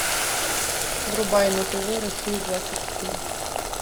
врубай на тв россию двадцать четыре